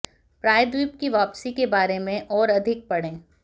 प्रायद्वीप की वापसी के बारे में और अधिक पढ़ें